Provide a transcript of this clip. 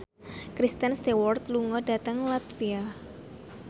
Kristen Stewart lunga dhateng latvia